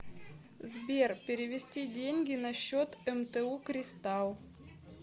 сбер перевести деньги на счет мту кристалл